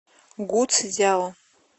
гуцзяо